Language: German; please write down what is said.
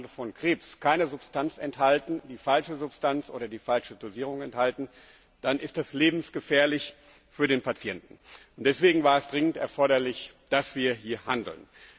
zur Behandlung von Krebs, keine Substanz, die falsche Substanz oder die falsche Dosierung enthalten, dann ist das lebensgefährlich für den Patienten. Deswegen war es dringend erforderlich, dass wir hier handeln.